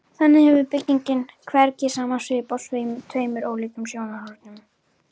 Þannig hefur byggingin hvergi sama svip frá tveimur ólíkum sjónarhornum.